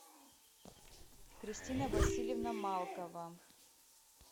кристина васильевна малкова